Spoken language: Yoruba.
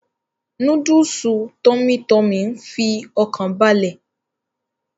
Núdúùsù tummy tummy ń fi ọkàn balẹ̀